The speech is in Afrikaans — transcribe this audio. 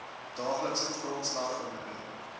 daaglikse grondslag verminder